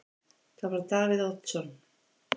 Það var Davíð Oddsson.